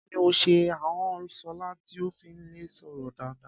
Kí ni ó ṣe ahọ́n Ṣọlá tí kò fi lè sọ̀rọ̀ dáadáa?